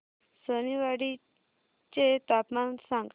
सोनेवाडी चे तापमान सांग